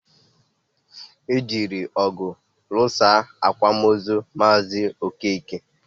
E jiri ọgụ lụsaa akwamozu maazi Okeke